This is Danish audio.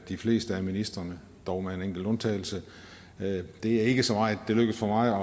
de fleste af ministrene dog med en enkelt undtagelse det er ikke så meget det lykkes for mig